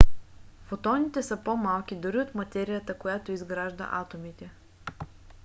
фотоните са по-малки дори от материята която изгражда атомите!